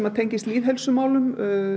tengist lýðheilsumálum